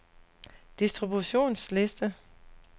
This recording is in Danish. distributionsliste